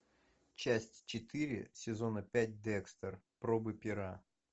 часть четыре сезона пять декстер пробы пера